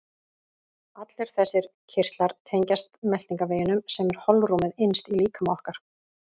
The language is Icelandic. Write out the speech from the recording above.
Allir þessir kirtlar tengjast meltingarveginum sem er holrúmið innst í líkama okkar.